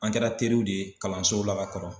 An kɛra teriw de ye kalanso la ka kɔrɔ.